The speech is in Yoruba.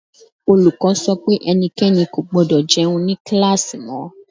Olùkọ́ sọ pé ẹnikẹ́ni kò gbọdọ̀ jẹun ní kíláàsì mọ́.